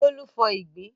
Bólú fọ ìgbín.